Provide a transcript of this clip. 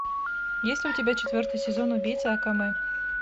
есть ли у тебя четвертый сезон убийца акаме